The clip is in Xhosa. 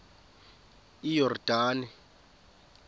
iyordane